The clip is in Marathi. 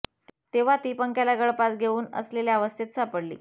तेव्हा ती पंख्याला गळफास घेऊन असलेल्या अवस्थेत सापडली